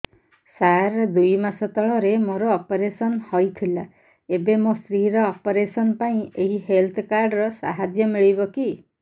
ସାର ଦୁଇ ମାସ ତଳରେ ମୋର ଅପେରସନ ହୈ ଥିଲା ଏବେ ମୋ ସ୍ତ୍ରୀ ର ଅପେରସନ ପାଇଁ ଏହି ହେଲ୍ଥ କାର୍ଡ ର ସାହାଯ୍ୟ ମିଳିବ କି